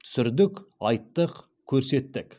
түсірдік айттық көрсеттік